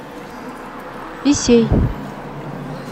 исей